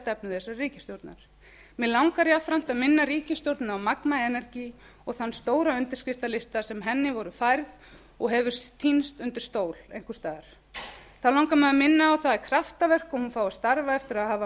stefnu þessarar ríkisstjórnar mig langar jafnframt að inna ríkisstjórnina á magma energy og þann stóra undirskriftalista sem henni var færður og hefur týnst undir stól einhvers staðar þá langar mig að minna á að það er kraftaverk að hún fái að starfa eftir að hafa